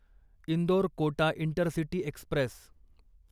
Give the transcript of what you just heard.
Indore Kota intercity Express